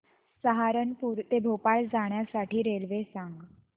सहारनपुर ते भोपाळ जाण्यासाठी रेल्वे सांग